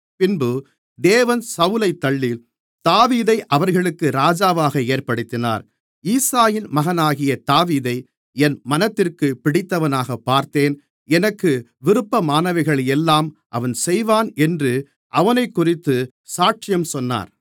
பின்பு தேவன் சவுலைத் தள்ளி தாவீதை அவர்களுக்கு ராஜாவாக ஏற்படுத்தினார் ஈசாயின் மகனாகிய தாவீதை என் மனதிற்கு பிடித்தவனாகப் பார்த்தேன் எனக்கு விருப்பமானவைகளையெல்லாம் அவன் செய்வான் என்று அவனைக்குறித்து சாட்சியும் சொன்னார்